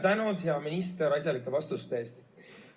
Tänud, hea minister, asjalike vastuste eest!